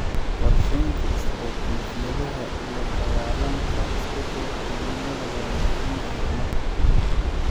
Qorsheynta istiraatiijiyadaha la dagaallanka isbedelka cimilada waa muhiim horumarka.